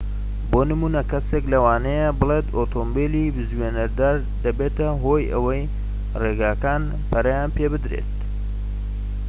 بۆ نمونە کەسێك لەوانەیە بڵێت ئۆتۆمبیلی بزوێنەردار دەبێتە هۆی ئەوەی ڕێگەکان پەرەیان پێبدرێت